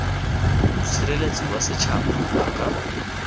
mosireletsi wa setšhaba a ka